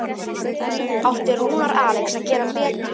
Átti Rúnar Alex að gera betur?